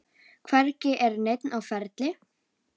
Hvergi er neinn á ferli.